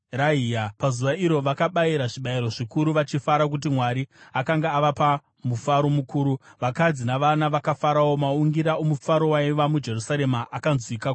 Pazuva iro vakabayira zvibayiro zvikuru, vachifara nokuti Mwari akanga avapa mufaro mukuru. Vakadzi navana vakafarawo. Maungira omufaro waiva muJerusarema akanzwika kure kwazvo.